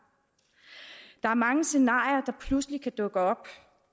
er mange scenarier der pludselig kan dukke op